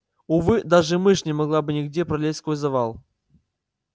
увы даже мышь не могла бы нигде пролезть сквозь завал